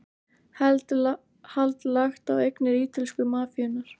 Hald lagt á eignir ítölsku mafíunnar